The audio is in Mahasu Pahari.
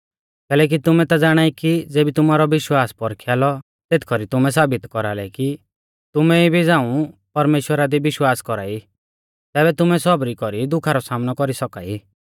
कैलैकि तुमै ता ज़ाणाई कि ज़ेबी तुमारौ विश्वासा पौरखिया लौ तेथ कौरी तुमै साबित कौरालै कि तुमै इबी झ़ाऊं परमेश्‍वरा दी विश्वास कौरा ई तैबै तुमै सौबरी कौरी दुखा रौ सामनौ कौरी सौका ई